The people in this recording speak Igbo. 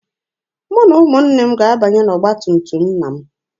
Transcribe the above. Mụ na ụmụnne m ga-abanye n'ọgba tum tum nna m.